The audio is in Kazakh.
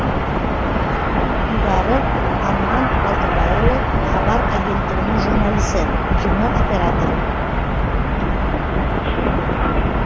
ұлдары арман балтабайұлы хабар агенттігінің журналисі кино операторы